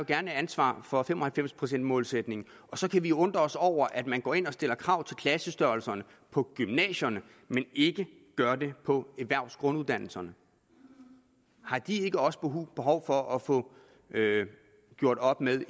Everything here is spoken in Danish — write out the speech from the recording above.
gerne ansvaret for fem og halvfems procent målsætningen og så kan vi undre os over at man går ind og stiller krav til klassestørrelserne på gymnasierne men ikke gør det på erhvervsgrunduddannelserne har de ikke også behov for at få gjort op med